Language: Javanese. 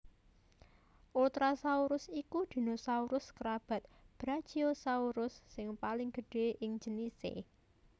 Ultrasaurus iku dinosaurus kerabat Brachiosaurus sing paling gedhé ing jenisé